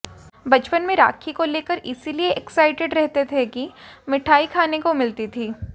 बचपन में राखी को लेकर इसलिए एक्साइटेड रहते थे कि मिठाई खाने को मिलती थी